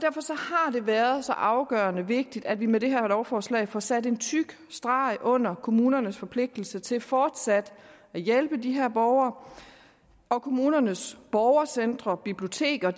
har det været så afgørende vigtigt at vi med det her lovforslag får sat en tyk streg under kommunernes forpligtelse til fortsat at hjælpe de her borgere og kommunernes borgercentre og biblioteker